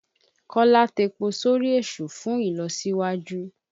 Kọ́lá tepo sórí èṣù fùn ìlọsíwájú.